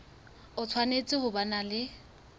o tshwanetse ho ba le